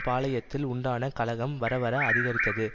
பாளயத்தில் உண்டான கலகம் வரவர அதிகரித்தது